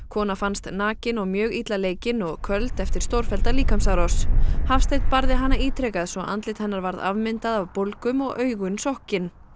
kona fannst nakin og mjög illa leikin og köld eftir stórfellda líkamsárás Hafsteinn barði hana ítrekað svo andlit hennar varð afmyndað af bólgum og augun sokkin